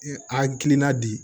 A kilenna bi